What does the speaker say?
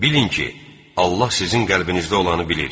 Bilin ki, Allah sizin qəlbinizdə olanı bilir.